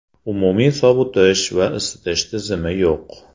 Umumiy sovutish va isitish tizimi yo‘q.